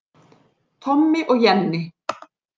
Tommi og Jenni